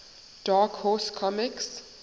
dark horse comics